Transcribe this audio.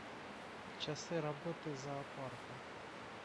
часы работы зоопарка